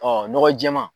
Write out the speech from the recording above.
nɔgɔ jɛɛman